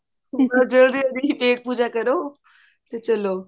ਬਸ ਜ੍ਦ੍ਲੀ ਜਲਦੀ ਚ pet ਪੂਜਾ ਕਰੋ ਤੇ ਚੱਲੋ